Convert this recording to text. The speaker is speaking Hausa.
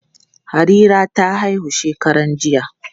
Harira ta haihu shekaran jiya.